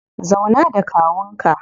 Zauna da kawun ka.